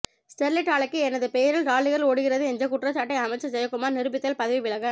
Sterlite ஆலைக்கு எனது பெயரில் லாரிகள் ஓடுகிறது என்ற குற்றச்சாட்டை அமைச்சர் ஜெயகுமார் நிரூபித்தால் பதவி விலக